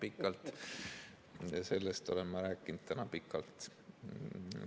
Ka sellest olen ma täna rääkinud pikalt.